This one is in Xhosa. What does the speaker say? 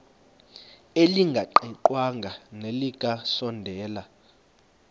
elingaqingqwanga nelinge kasondeli